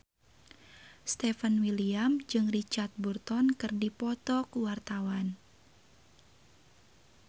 Stefan William jeung Richard Burton keur dipoto ku wartawan